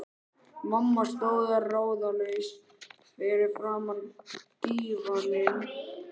Mamma stóð ráðalaus fyrir framan dívaninn.